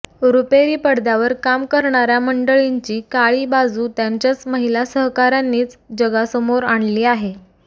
रुपेरी पडद्यावर काम करणाऱ्या मंडळींची काळी बाजू त्यांच्याच महिला सहकाऱ्यांनीच जगासमोर आणली आहे